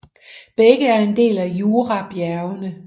Begge er en del af Jurabjergene